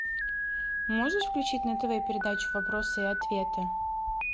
можешь включить на тв передачу вопросы и ответы